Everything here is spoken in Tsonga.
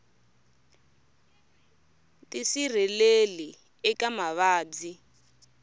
tisirheleli eka mavabyi